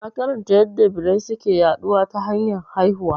Na karanta yadda birai suke yaɗuwa ta hanyar haihuwa